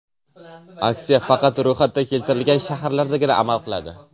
Aksiya faqat ro‘yxatda keltirilgan shaharlardagina amal qiladi.